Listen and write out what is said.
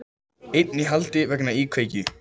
Einn í haldi vegna íkveikju